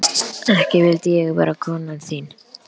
Ekki vildi ég vera konan þín.